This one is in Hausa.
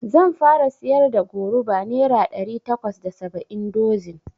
Zan fara siyar da goruba nera ɗari takwas da saba'in dozin